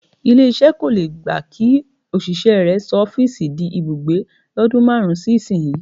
Ilé-iṣẹ́ kò le gba kí òṣìṣẹ́ rẹ sọ ọ́fíìsì di ibùgbé lọ́dún márùn-ún sí ìsinyìí.